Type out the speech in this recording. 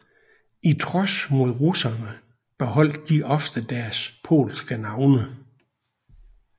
I trods mod russerne beholdt de ofte deres polske navne